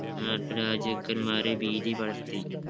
നാട്ടുരാജ്യക്കന്മാരെ ഭീതി പടർത്തി